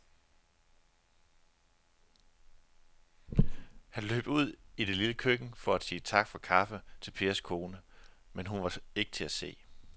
Han løb ud i det lille køkken for at sige tak for kaffe til Pers kone, men hun var ikke til at se.